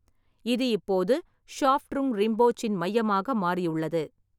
இது இப்போது ஷாப்ட்ருங் ரிம்போச்சின் மையமாக மாறியுள்ளது.